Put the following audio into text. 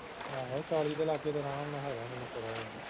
ਆਹੋ ਚਾਲੀ ਦੇ ਲਾਗੇ ਤੇ ਅਰਾਮ ਨਾਲ ਹੈਗਾ ਮੈਨੂੰ ਪਤਾ ਇੰਨਾ